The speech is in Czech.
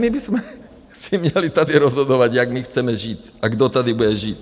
My bychom si měli tady rozhodovat, jak my chceme žít a kdo tady bude žít.